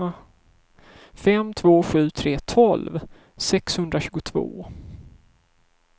fem två sju tre tolv sexhundratjugotvå